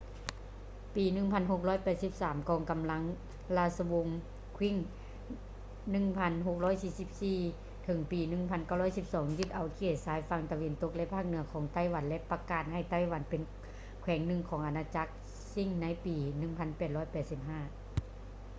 ປີ 1683 ກອງກຳລັງລາຊະວົງ qing 1644-1912 ຍຶດເອົາເຂດຊາຍຝັ່ງຕາເວັນຕົກ ແລະ ພາກເໜືອຂອງໄຕ້ຫວັນ ແລະ ປະກາດໃຫ້ໄຕ້ຫວັນເປັນແຂວງໜຶ່ງຂອງອານາຈັກຊິງໃນປີ 1885